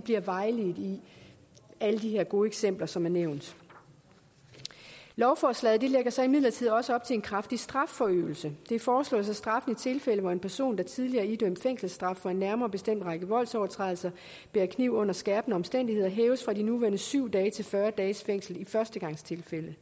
bliver vejledt i alle de her gode eksempler som er nævnt lovforslaget lægger så imidlertid også op til en kraftig strafforøgelse det foreslås at straffen i tilfælde hvor en person der tidligere idømt fængselsstraf for en nærmere bestemt række voldsovertrædelser bærer kniv under skærpende omstændigheder hæves fra de nuværende syv dage til fyrre dages fængsel i førstegangstilfælde